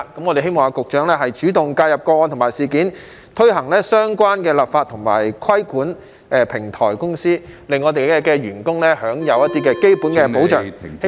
我們希望局長主動介入個案和事件，推行相關的立法和規管平台公司，令這些員工享有基本的保障......